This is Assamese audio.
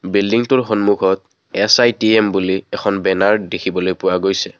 বিল্ডিংটোৰ সম্মুখত এছ_আই_টি_এম এখন বেনাৰ দেখিবলৈ পোৱা গৈছে।